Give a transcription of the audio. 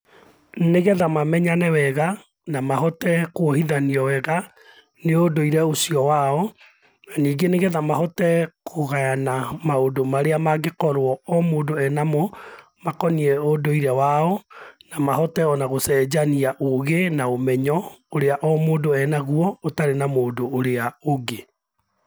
Nĩgetha mamenyane wega na mahote kwohithanio wega nĩũndũire ũcio wao, na ningĩ nĩgetha mahote kũgayana maũndũ marĩa angĩkorwo o mũndũ ena mo, makoniĩ ũndũire wa o na mahote o na gũcenjania ũgĩ na ũmenyo ũrĩa o mũndũ enagũo ũtarĩ na mũndũ ũrĩa ũngĩ.